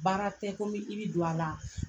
Baara tɛ ko n bɛ i bi don a la.